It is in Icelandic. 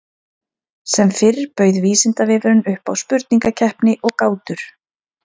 Sem fyrr bauð Vísindavefurinn upp á spurningakeppni og gátur.